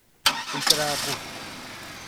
ũikaraga kũ ?